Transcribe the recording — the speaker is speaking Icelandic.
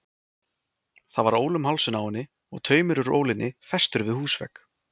Það var ól um hálsinn á henni og taumur úr ólinni festur við húsvegg.